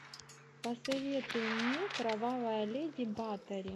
посоветуй мне кровавая леди батори